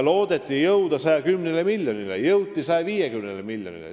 Loodeti saada 110 miljonit, saadi 150 miljonit.